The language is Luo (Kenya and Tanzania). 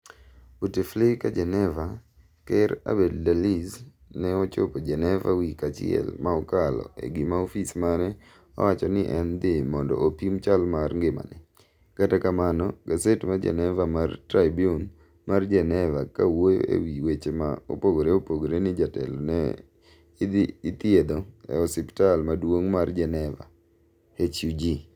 Bouteflika Geneva, ker Abdelaziz ne ochopo Geneva wik achiel ma okalo e gima ofis mare owacho ni en dhi mondo opim chal mar ngimane, Kata kamano gaset ma Geneva mar Tribune mar Geneva ka wuoyo e wi weche ma opogore opogore ni jatelo no ithiedho e osiptal maduong' mar Geneva, HUG